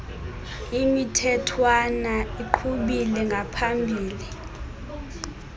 imithethwana iqhubile ngaphambile